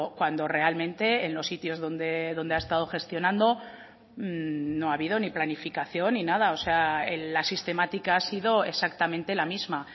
cuando realmente en los sitios donde ha estado gestionando no ha habido ni planificación ni nada o sea la sistemática ha sido exactamente la misma